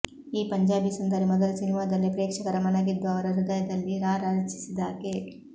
ಈ ಪಂಜಾಬಿ ಸುಂದರಿ ಮೊದಲ ಸಿನಿಮಾದಲ್ಲೇ ಪ್ರೇಕ್ಷಕರ ಮನ ಗೆದ್ದು ಅವರ ಹೃದಯದಲ್ಲಿ ರಾರಾಜಿಸಿದಾಕೆ